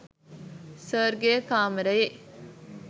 සර්ගෙ කාමරයේ